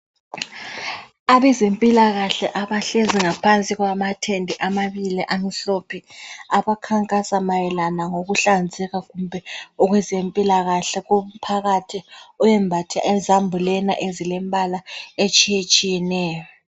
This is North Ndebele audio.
Abezempilakahle abahlezi ngaphansi kwamathende amabili amhlophe, abakhankasa mayelana ngokuhlanzeka kumbe okwezempilakahle komphakathi oyembathe izambulena ezilombala etshiyetshiyeneyo.